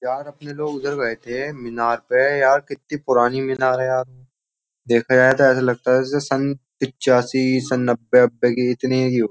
यार अपने लोग उधर बैठे है मीनार पे यार कितनी पुरानी मीनार है यार देखा जाए तो ऐसा लगता है जैसे सन पचासी सन नब्बे की इतनी की हो।